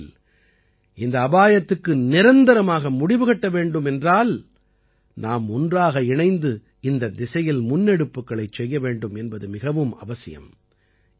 அந்த வகையில் இந்த அபாயத்துக்கு நிரந்தரமாக முடிவுகட்ட வேண்டும் என்றால் நாம் ஒன்றாக இணைந்து இந்தத் திசையில் முன்னெடுப்புக்களைச் செய்ய வேண்டும் என்பது மிகவும் அவசியம்